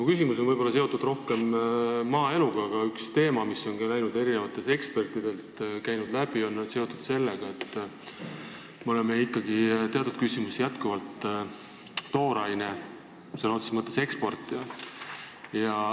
Mu küsimus on seotud võib-olla rohkem maaeluga, aga üks teema, mis on ka ekspertide ütlustest läbi käinud, on seotud sellega, et me oleme ikkagi teatud küsimustes sõna otseses mõttes tooraine eksportija.